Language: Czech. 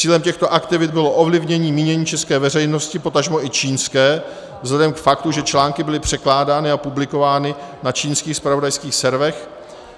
Cílem těchto aktivit bylo ovlivnění mínění české veřejnosti, potažmo i čínské, vzhledem k faktu, že články byly překládány a publikovány na čínských zpravodajských serverech,